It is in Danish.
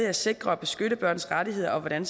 at sikre og beskytte børns rettigheder og hvordan